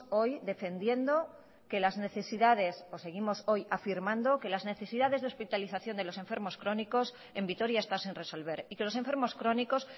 hoy defendiendo que las necesidades o seguimos hoy afirmando que las necesidades de hospitalización de los enfermos crónicos en vitoria está sin resolver y que los enfermos crónicos